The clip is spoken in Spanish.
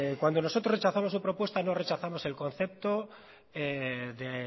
cuando nosotros rechazamos su propuesta no rechazamos el concepto de